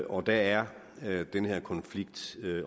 og der er er den her konflikt